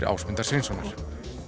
Ásmundar Sveinssonar